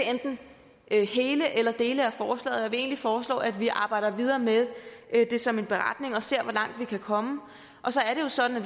kan støtte enten hele eller dele af forslaget egentlig foreslå at vi arbejder videre med det som en beretning og ser hvor langt vi kan komme og så er det jo sådan